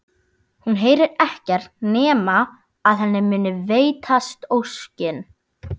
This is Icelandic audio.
Hún heyrir ekkert nema að henni muni veitast óskin.